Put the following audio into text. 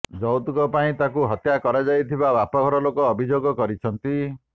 ଯୌତୁକ ପାଇଁ ତାଙ୍କୁ ହତ୍ୟା କରାଯାଇଥିବା ବାପଘର ଲୋକେ ଅଭିଯୋଗ କରିଛନ୍ତି